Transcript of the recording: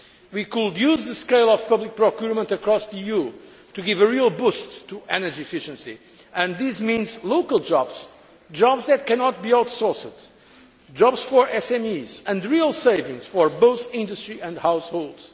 We could use the scale of public procurement across the EU to give a real boost to energy efficiency and this means local jobs, jobs that cannot be outsourced, jobs for SMEs and real savings for both industry and households.